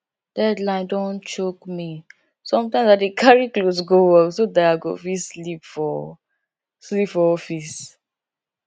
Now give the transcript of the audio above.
deadline don choke me sometimes i dey carry cloth go work so dat i go fit sleep for sleep for office